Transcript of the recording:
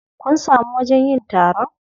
Kun samu wajen yin taron?